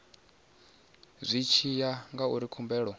zwi tshi ya ngauri khumbelo